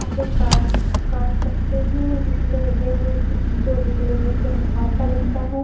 इसे काट काट सकते हैं इसमें गेहूं जो निकलेंगे उससे हम आटा बनता है।